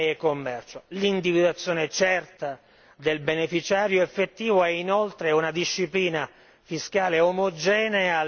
Occorre l'individuazione certa del beneficiario effettivo e inoltre anche una disciplina fiscale omogenea a livello europeo.